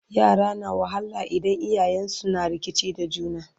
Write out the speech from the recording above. yara na wahala idan iyayensun na rikici da juna